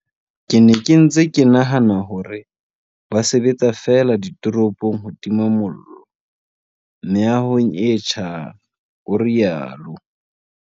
Ke ne ke ntse ke nahana hore ba sebetsa feela ditoropong ho tima mollo meahong e tjhang, o rialo.